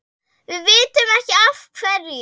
Við vitum ekki af hverju.